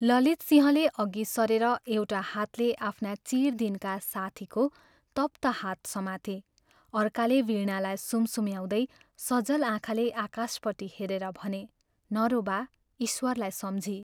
ललितसिंहले अघि सरेर एउटा हातले आफ्ना चिर दिनका साथीको तप्त हात समाते अर्काले वीणालाई सुमसुम्याउँदै सजल आँखाले आकाशपट्टि हेरेर भने, "नरो बा! ईश्वरलाई सम्झी।